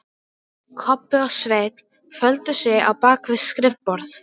Kobbi og Svenni földu sig á bak við skrifborð.